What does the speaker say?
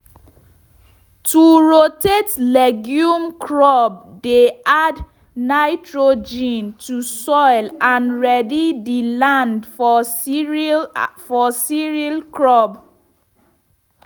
to rotate legume crop dey add nitrogen to soil and ready the land for cereal for [?.] cereal crop.